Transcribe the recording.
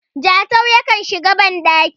Jatau yakan shiga bandaki